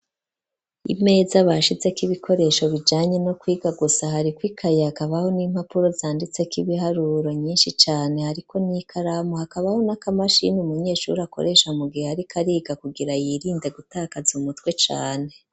Imeza bashize k'ibikoresho bijanye no kwiga gusa ,hari kw' ikayakabaho n'impapuro zanditse k'ibiharuro nyinshi cane ,hariko n'ikaramu hakabaho n'aka mashini umunyeshuri akoresha mu gihe ariko ariga, kugira yirinde gutakaza umutwe cane.